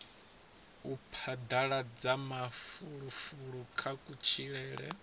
u phadaladza mafulufulo kha kutshilele